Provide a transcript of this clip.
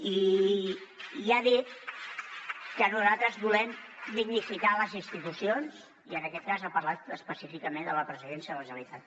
i ha dit que nosaltres volem dignificar les institucions i en aquest cas ha parlat específicament de la presidència de la generalitat